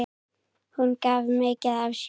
Hún gaf mikið af sér.